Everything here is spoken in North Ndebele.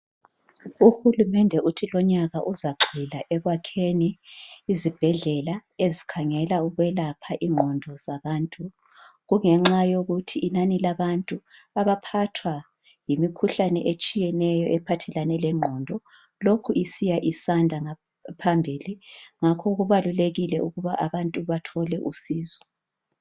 uhulumende lonyaka uthi uzaqela ekwakheni izibhedlela ezikhangela ukwelapha inqondo zabantu kungenxa yokuthi inani labantu abaphathwa yimikhuhlane etshiyeneyo ephathelane lenqondo lokhu isiya isanda phambili ngakho kubalulekile ukuba abantu bathole usizo